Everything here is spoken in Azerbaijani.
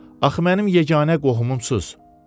Axı mənim yeganə qohumumsunuz.